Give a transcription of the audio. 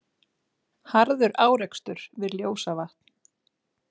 Harður árekstur við Ljósavatn